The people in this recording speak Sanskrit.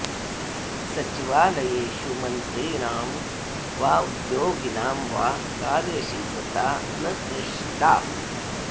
सचिवालयेषु मन्त्रिणां वा उद्योगिनां वा कार्यशीलता न दृष्टा